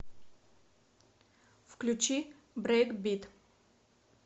включи брейкбит